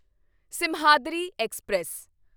Simhadri express